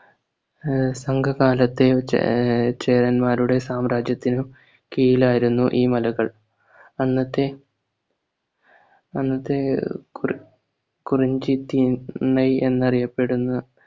ആഹ് സംഘകാലത്തെ ചേ ആഹ് ചേരന്മാരുടെ സാമ്രാജ്യത്തിനു കീഴിലായിരുന്നു ഈ മലകൾ അന്നത്തെ അന്നത്തെ ഒ കുരു കുരുഞ്ചിത്തിന്നൈ എന്നറിയപ്പെടുന്ന